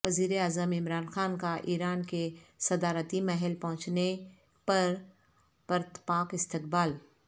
وزیراعظم عمران خان کا ایران کے صدارتی محل پہنچنے پر پرتپاک استقبال